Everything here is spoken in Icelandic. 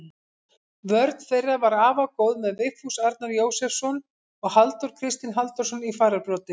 Vörn þeirra var afar góð með Vigfús Arnar Jósepsson og Halldór Kristinn Halldórsson í fararbroddi.